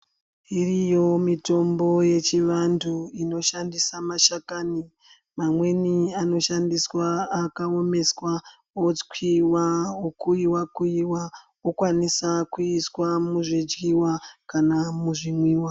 Iriyo mitombo yechiantu inoshandisa mashakani, mamweni anoshandiswa akaomeswa otswiwa, okuiwa-kuiwa okwanisa kuiswa muzvidyiwa kana muzvimwiwa.